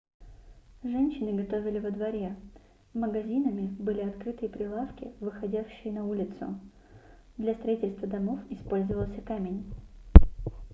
женщины готовили во дворе магазинами были открытые прилавки выходящие на улицу для строительства домов использовался камень